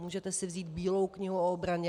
Můžete si vzít Bílou knihu o obraně.